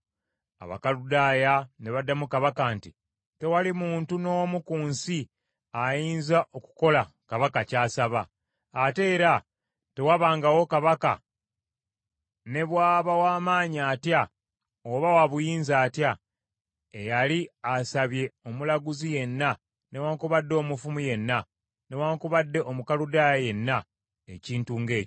Abakaludaaya ne baddamu kabaka nti, “Tewali muntu n’omu ku nsi ayinza okukola kabaka ky’asaba. Ate era tewabangawo kabaka ne bw’aba w’amaanyi atya oba wa buyinza atya, eyali asabye omulaguzi yenna newaakubadde omufumu yenna newaakubadde Omukaludaaya yenna ekintu ng’ekyo.